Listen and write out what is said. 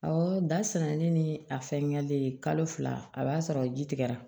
Awɔ da sɛnɛni ni a fɛngɛlen ye kalo fila a b'a sɔrɔ ji tigɛra